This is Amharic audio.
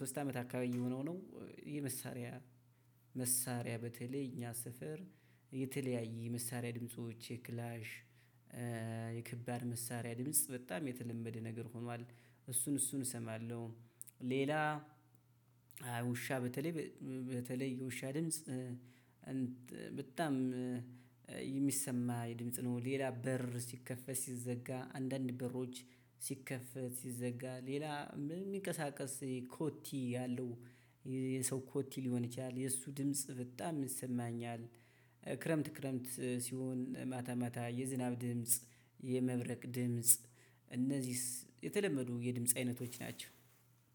ሶስት አመት አካባቢ የሆነው ነው የመሳሪያ መሳሪያ በተለይ እኛ ሰፍር የተለያየ የመሳሪያ ድምጾች የክላሽ፣ የከባድ መሳሪያ ድምጽ በጣም የተለመደ ነገር ሆኗል። እሱን እሱን እሰማለሁ። ሌላ ውሻ በተለይ በተለይ የውሻ ድምጽ በጣም የሚሰማ የድምጽ ነው። ሌላ በር ሲከፈት ሲዘጋ አንዳንድ በሮች ሲከፈት ሲዘጋ ሌላ የሚንቀሳቀስ ኮቲ ያለው የሰው ኮቲ ሊሆን ይችላል። የእሱ ድምጽ በጣም ይሰማኛል። ክረምት ክረምት ሲሆን ማታ ሜታ የዝናብ ድምጽ፣ የመብረቅ ድምጽ እነዚህስ የተለመዱ የድምጽ አይነቶች ናቸው።